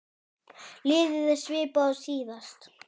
Liðið er svipað og síðast.